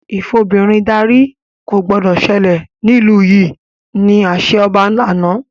Ìfobìnrin darí” ko gbọdọ̀ sẹlẹ̀ nílu yìí! ni àṣẹ ọba àná